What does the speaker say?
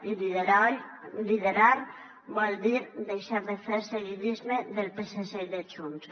i liderar vol dir deixar de fer seguidisme del psc i de junts